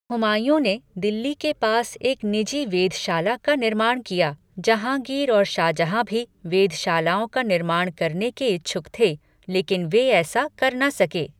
हुमायूं ने दिल्ली के पास एक निजी वेधशाला का निर्माण किया, जहांगीर और शाहजहां भी वेधशालाओं का निर्माण करने के इच्छुक थे, लेकिन वे ऐसा कर न सके।